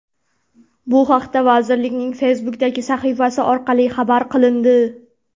Bu haqda vazirlikning Facebook’dagi sahifasi orqali xabar qilindi .